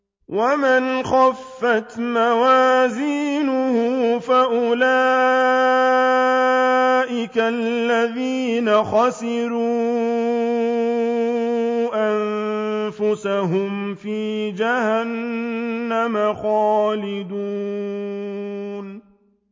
وَمَنْ خَفَّتْ مَوَازِينُهُ فَأُولَٰئِكَ الَّذِينَ خَسِرُوا أَنفُسَهُمْ فِي جَهَنَّمَ خَالِدُونَ